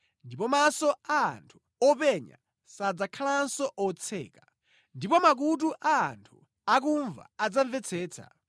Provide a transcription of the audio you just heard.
Ndipo maso a anthu openya sadzakhalanso otseka, ndipo makutu a anthu akumva adzamvetsetsa.